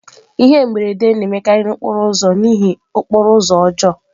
Ihe mberede na-emekarị n'okporo ụzọ n'ihi okporo ụzọ ọjọọ.